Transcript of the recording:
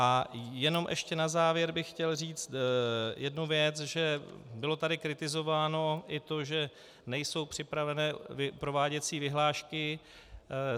A jenom ještě na závěr bych chtěl říct jednu věc, že bylo tady kritizováno i to, že nejsou připraveny prováděcí vyhlášky.